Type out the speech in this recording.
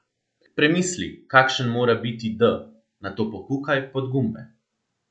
Premisli, kakšen mora biti d, nato pokukaj pod gumbe.